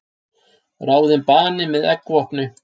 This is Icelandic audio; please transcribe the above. Ráðinn bani með eggvopni